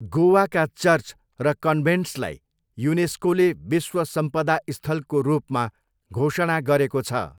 गोवाका church र कन्भेन्ट्सलाई युनेस्कोले विश्व सम्पदा स्थलको रूपमा घोषणा गरेको छ।